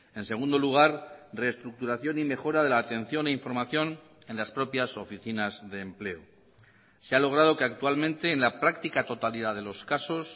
en segundo lugar reestructuración y mejora de la atención e información en las propias oficinas de empleo se ha logrado que actualmente en la práctica totalidad de los casos